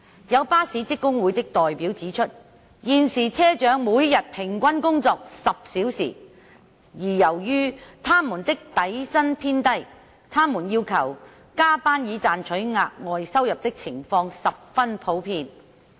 有巴士職工會的代表指出，現時車長每日平均工作10小時，而由於他們的底薪偏低，他們要求加班以賺取額外收入的情況十分普遍。